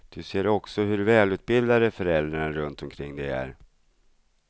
Du ser också hur välutbildade föräldrarna runt omkring dig är.